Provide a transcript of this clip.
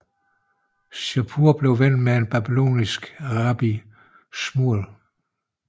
Shapur blev ven med en babylonisk rabbi Shmuel